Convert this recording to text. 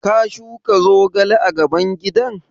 Ka shuka zogale a gaban gidan?